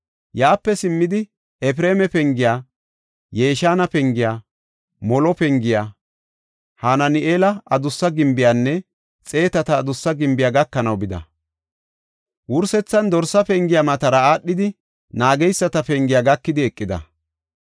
Yaape simmidi, Efreema Pengiya, Yeshaana Pengiya, Molo Pengiya, Hanaani7eela Adussa Gimbiyanne Xeetata Adussa Gimbiya gakanaw bida. Wursethan Dorsa Pengiya matara aadhidi Naageyisata Pengiya gakidi eqida.